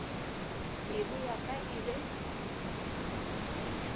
pelo ya ka e be